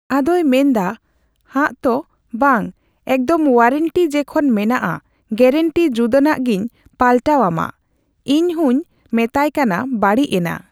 ᱟᱫᱚᱭ ᱢᱮᱱᱫᱟ ᱦᱟᱜᱛᱚ ᱵᱟᱝ ᱮᱠᱫᱚᱢ ᱳᱣᱟᱨᱮᱱᱴᱤ ᱡᱮᱠᱷᱚᱱ ᱢᱮᱱᱟᱜᱼᱟ ᱜᱮᱨᱮᱱᱴᱤ ᱡᱩᱫᱟᱹᱱᱟᱜ ᱜᱤᱧ ᱯᱟᱞᱴᱟᱣ ᱟᱢᱟ ᱤᱧᱦᱚᱧ ᱢᱮᱛᱟᱭ ᱠᱟᱱᱟ ᱵᱟᱹᱲᱤᱡ ᱮᱱᱟ ᱾